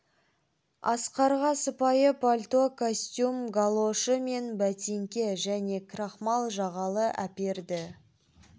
асқарға сыпайы пальто костюм галошы мен бәтеңке және крахмал жағалы әперді